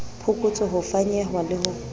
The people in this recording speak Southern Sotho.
phokotso ho fanyehwa le ho